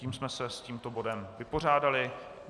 Tím jsme se s tímto bodem vypořádali.